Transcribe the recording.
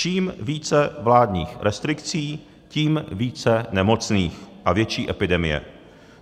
Čím více vládních restrikcí, tím více nemocných a větší epidemie.